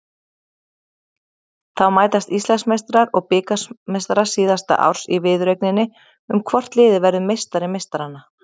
Þá mætast Íslandsmeistarar og bikarmeistarar síðasta árs í viðureigninni um hvort liðið verður meistari meistaranna.